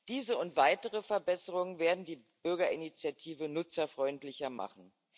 Diese und weitere Verbesserungen werden die Bürgerinitiative nutzerfreundlicher machen.